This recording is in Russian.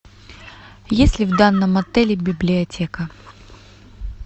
есть ли в данном отеле библиотека